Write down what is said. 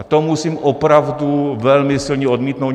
A to musím opravdu velmi silně odmítnout.